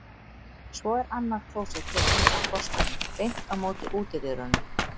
Svo er annað klósett hér inn af forstofunni, beint á móti útidyrunum.